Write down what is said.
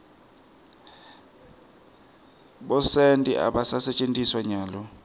bosenti abasentjetiswa nyalo